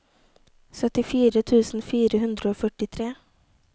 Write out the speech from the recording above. syttitre tusen fire hundre og førtitre